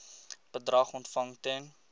bedrag ontvang ten